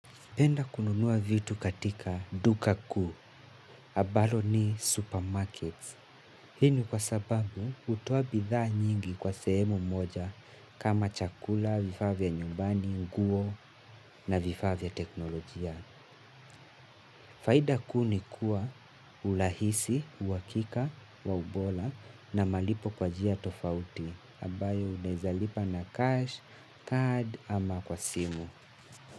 Penda kununua vitu katika duka kuu, abalo ni supermarkets. Hii ni kwa sababu hutoa bithaa nyingi kwa sehemu moja kama chakula, vifavya nyumbani, guo na vifaa vya teknolojia. Faida ku ni kuwa ulahisi, uhakika, wa ubola na malipo kwa jia tofauti, abayo unaeza lipa na cash, card ama kwa simu.